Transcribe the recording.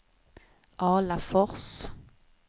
Alafors